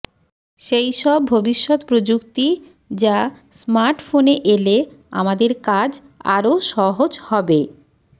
সেই সব ভবিষ্যৎ প্রযুক্তি যা স্মার্টফোনে এলে আমাদের কাজ আরও সহজ হবে